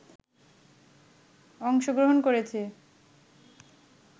অংশগ্রহণ করেছে